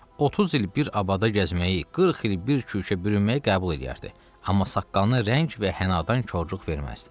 Otuz il bir abada gəzməyi, qırx il bir kürkə bürünməyi qəbul eləyərdi, amma saqqalına rəng və hənadan korluq verməzdi.